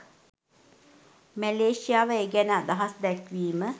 මැලේසියාව ඒ ගැන අදහස් දැක්වීම